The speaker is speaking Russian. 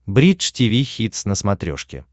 бридж тиви хитс на смотрешке